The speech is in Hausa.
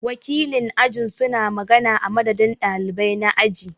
Wakilin aji su na magana a madadin ɗalibai na aji.